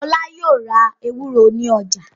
Ọlá yóò ra ewúro ní ọjà.